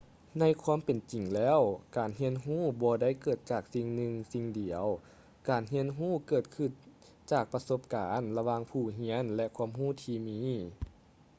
ໃນຄວາມເປັນຈິງແລ້ວ ການຮຽນຮູ້ບໍ່ໄດ້ເກີດຈາກສິ່ງໜຶ່ງສິ່ງດຽວ ການຮຽນຮູ້ເກີດຂຶ້ນຈາກປະສົບການລະຫວ່າງຜູ້ຮຽນ ແລະ ຄວາມຮູ້ທີ່ມີ